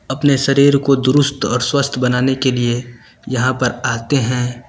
अपने शरीर को दुरुस्त और स्वस्थ बनाने के लिए यहां पर आते है।